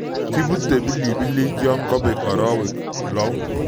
Kibute pilipilik yon kobek arawek lou